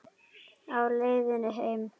Á leiðinni heim?